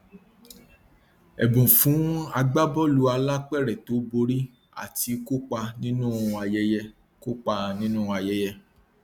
ẹbùn fún agbábọọlù alápèrẹ tó borí àti kópa nínú ayẹyẹ kópa nínú ayẹyẹ